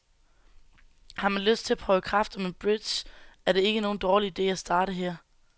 Har man lyst til at prøve kræfter med bridge, er det ikke nogen dårlig ide at starte her.